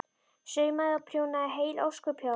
Saumaði og prjónaði heil ósköp hjá henni.